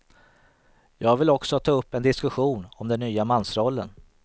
Jag vill också ta upp en diskussion om den nya mansrollen.